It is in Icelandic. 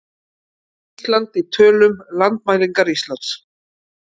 Ísland í tölum- Landmælingar Íslands.